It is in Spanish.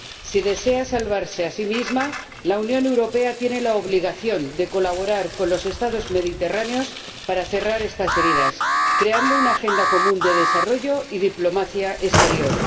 Si desea salvarse a sí misma, la Unión Europea tiene la obligación de colaborar con los Estados mediterráneos para cerrar estas heridas, creando una agenda común de desarrollo y diplomacia exterior.